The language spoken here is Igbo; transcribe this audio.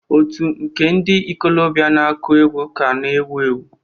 Otù nke ndị ikolobịa na-akụ egwu ka na-ewu ewu.